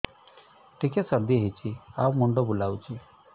ଟିକିଏ ସର୍ଦ୍ଦି ହେଇଚି ଆଉ ମୁଣ୍ଡ ବୁଲାଉଛି